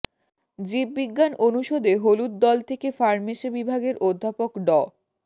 জীববিজ্ঞান অনুষদে হলুদ দল থেকে ফার্মেসে বিভাগের অধ্যাপক ড